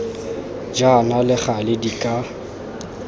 jaana le gale di ka